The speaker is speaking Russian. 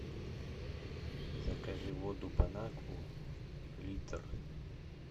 закажи воду бон акву литр